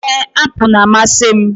Ee, apụl na-amasị m.